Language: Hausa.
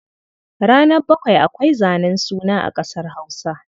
Ranar bakwai ake zanen suna a ƙasar Hausa.